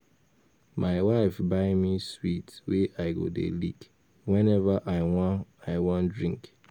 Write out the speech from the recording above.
My wife buy me sweet wey I go dey lick whenever I wan I wan drink